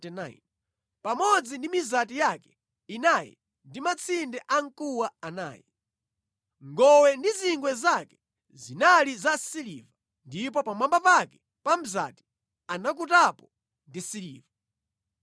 pamodzi ndi mizati yake inayi ndi matsinde amkuwa anayi. Ngowe ndi zingwe zake zinali za siliva, ndipo pamwamba pake pa mzati anakutapo ndi siliva.